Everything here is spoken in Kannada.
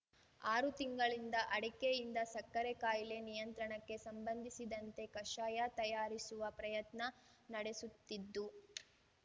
ಆರು ತಿಂಗಳಿಂದ ಅಡಕೆಯಿಂದ ಸಕ್ಕರೆ ಕಾಯಿಲೆ ನಿಯಂತ್ರಣಕ್ಕೆ ಸಂಬಂಧಿಸಿದಂತೆ ಕಷಾಯ ತಯಾರಿಸುವ ಪ್ರಯತ್ನ ನಡೆಸುತ್ತಿದ್ದು